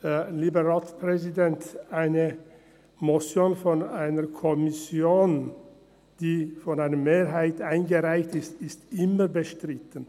Lieber Ratspräsident, eine Motion einer Kommission, die durch eine Mehrheit eingereicht wird, ist bestritten.